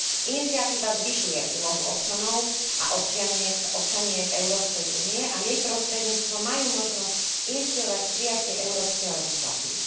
Iniciatíva zvyšuje úlohu občanov a občianok Európskej únie a jej prostredníctvom majú možnosť iniciovať prijatie európskej legislatívy.